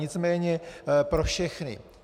Nicméně pro všechny.